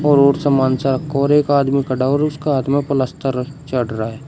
और एक आदमी खड़ा है और उसका हाथ में प्लास्टर चढ़ रहा है।